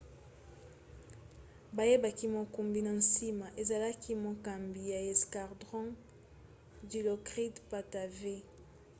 bayebaki mokumbi na nsima ezalaki mokambi ya escadron dilokrit pattavee